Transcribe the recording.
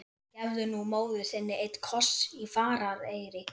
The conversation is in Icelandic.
Gefðu nú móður þinni einn koss í farareyri!